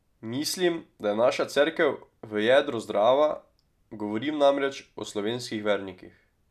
Mislim, da je naša Cerkev v jedru zdrava, govorim namreč o slovenskih vernikih.